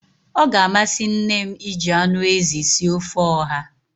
Ọ ga-amasị nne m iji anụ ezi sie ofe ọha